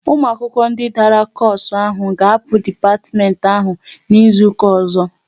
Ụmụ akwụkwọ ndị dara koosu ahụ ga-apụ n'dipatimenti ahụ n'izuka ọzọ!